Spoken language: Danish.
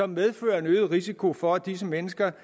medfører en øget risiko for at disse mennesker